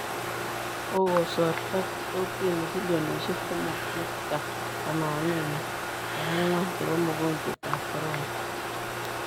Kokosorto kotini bilionishek somok nukta tamannini ak angwan chebo mogonjwet ap corona.